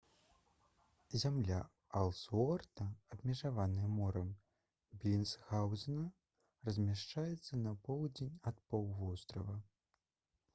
зямля элсуорта абмежаваная морам белінсгаўзена размяшчаецца на поўдзень ад паўвострава